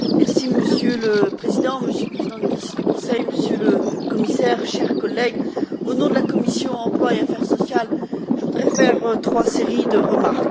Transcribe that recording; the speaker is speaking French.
Monsieur le Président, Monsieur le Président en exercice du Conseil, Monsieur le Commissaire, chers collègues, au nom de la commission de l'emploi et des affaires sociales, je voudrais faire trois séries de remarques.